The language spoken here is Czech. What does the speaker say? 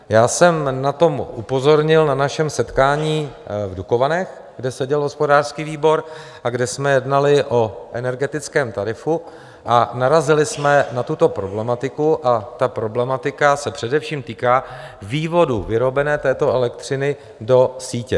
Já jsem na to upozornil na našem setkání v Dukovanech, kde seděl hospodářský výbor a kde jsme jednali o energetickém tarifu, a narazili jsme na tuto problematiku a ta problematika se především týká vývodů vyrobené této elektřiny do sítě.